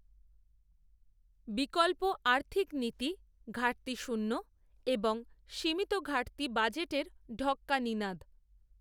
বিকল্প আর্থিক নীতি ঘাটতিশূন্য এবং সীমিত ঘাটতি বাজেটের ঢক্কা নিনাদ